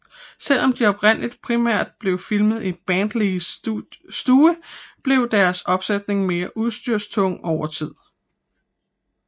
Selvom de oprindeligt primært blev filmet i Bradlees stue blev deres opsætninger mere udstyrstunge over tid